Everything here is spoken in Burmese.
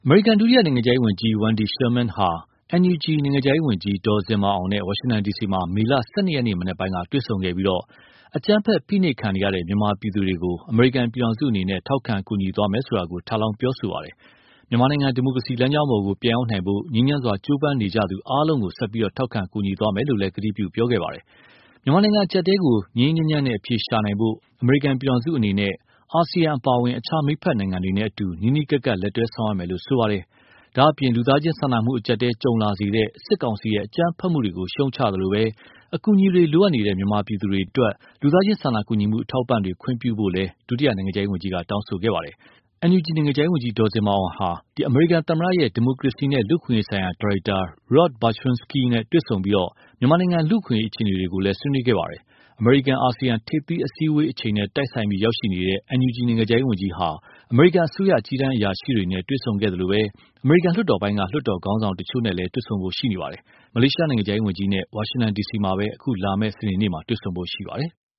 မေရိကန် ဒုတိယနိုင်ငံခြားရေးဝန်ကြီး Wendy Sherman ဟာ NUG နိုင်ငံခြားရေးဝန်ကြီး ဒေါ်ဇင်မာအောင်နဲ့ ဝါရှင်တန်ဒီစီမှာ မေလ ၁၂ ရက်နေ့မနက်ပိုင်းက တွေ့ဆုံခဲ့ပြီး အကြမ်းဖက် ဖိနှိပ်ခံနေရတဲ့ မြန်မာပြည်သူတွေကို အမေရိကန်ပြည်ထောင်စုအနေနဲ့ ထောက်ခံကူညီသွားမယ်ဆိုတာကို ထပ်လောင်း ပြောဆိုခဲ့ပါတယ်။ မြန်မာနိုင်ငံ ဒီမိုကရေစီလမ်းကြောင်းပေါ် ပြန်ရောက်နိုင်ဖို့ ငြိမ်းချမ်းစွာကြိုးပမ်းနေကြသူအားလုံးကို ဆက်ပြီး ထောက်ခံကူညီသွားမယ်လို့ ကတိပြုခဲ့တာပါ။ မြန်မာနိုင်ငံအကျပ်အတည်းကို ငြိမ်းငြိမ်းချမ်းချမ်းအဖြေရှာနိုင်ဖို့ အမေရိကန်ပြည်ထောင်စုအနေနဲ့ အာဆီယံအပါအဝင် အခြားမိတ်ဖက်နိုင်ငံတွေနဲ့အတူ နီးနီးကပ်ကပ် လက်တွဲဆောင်ရွက်မယ်လို့ ဆိုပါတယ်။ ဒါ့အပြင် လူသားချင်းစာနာမှုအကျပ်အတည်းကြုံလာစေတဲ့ စစ်ကောင်စီရဲ့ အကြမ်းဖက်မှုတွေကို ရှုတ်ချသလို အကူအညီတွေလိုအပ်နေတဲ့ မြန်မာပြည်သူတွေအတွက် လူသားချင်းစာနာကူညီမှုအထောက်အပံ့တွေ ခွင့်ပြုဖို့လည်း ဒုနိုင်ငံခြားရေးဝန်ကြီးက တောင်းဆိုခဲ့ပါတယ်။ NUG နိုင်ငံခြားရေးဝန်ကြီး ဒေါ်ဇင်မာအောင်၊ အမေရိကန်သမ္မတရဲ့ ဒီမိုကရေစီနဲ့လူ့အခွင့်အရေးဆိုင်ရာ ဒါရိုက်တာ Rob Berschinski နဲ့ တွေဆုံပြီး မြန်မာနိုင်ငံလူ့အခွင့်အရေးအခြေအနေတွေကို ဆွေးနွေးခဲ့ပါတယ်။ အမေရိကန်-အာဆီယံ ထိပ်သီးအစည်းအဝေးအချိန်နဲ့ တိုက်ဆိုင်ပြီးရောက်ရှိနေတဲ့ NUG နိုင်ငံခြားရေးဝန်ကြီးဟာ အမေရိကန်အစိုးရ အကြီးတန်းအရာရှိတွေနဲ့ တွေ့ဆုံခဲ့သလို အမေရိကန်လွှတ်တော်ပိုင်းက လွှတ်တော်ခေါင်းဆောင်တချို့နဲ့လည်း တွေ့ဆုံဖို့ရှိနေပါတယ်။ ဒါ့အပြင် မလေးရှားနိုင်ငံခြားရေးဝန်ကြီးနဲ့ ဝါရှင်တန်ဒီစီမှာပဲ လာမယ့် စနေနေ့မှာ တွေ့ဖို့ရှိပါတယ်။